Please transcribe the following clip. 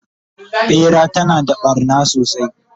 ɓera tana da ɓarna sosai